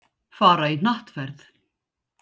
Fara í hnattferð.